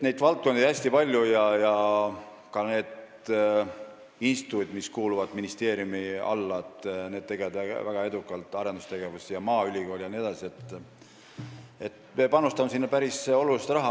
Nii et valdkondi on hästi palju ja ka need instituudid, mis kuuluvad ministeeriumi alla, maaülikool jne, tegelevad väga edukalt arendustegevusega ja me panustame sinna päris palju raha.